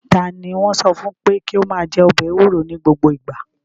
Ta ni wọ́n sọ fún pé kí ó máa jẹ ọbẹ̀ ewuro ní gbogbo ìgbà?